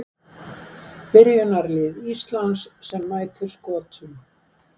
Byrjunarlið Íslands sem mætir Skotum